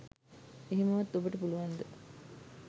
එහෙමවත් ඔබට පුළුවන්ද